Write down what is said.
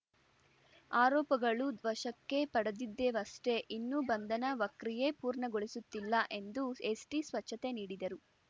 ಆರೋಪಗಳು ವಶಕ್ಕೆ ಪಡೆದಿದ್ದೇವಷ್ಟೆ ಇನ್ನೂ ಬಂಧನ ವಕ್ರಿಯೆ ಪೂರ್ಣಗೊಳಿಸುತ್ತಿಲ್ಲ ಎಂದು ಎಸ್ಟಿ ಸ್ಪಷ್ಟನೆ ನೀಡಿದರು